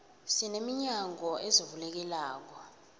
sine minyango ezivulekelako